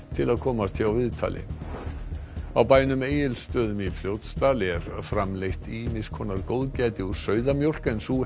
til að komast hjá viðtali á bænum Egilsstöðum í Fljótsdal er framleitt ýmiss konar góðgæti úr sauðamjólk en sú